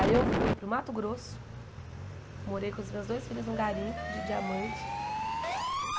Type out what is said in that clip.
Aí eu fui para o Mato Grosso, morei com os meus dois filhos num garimpo de diamante.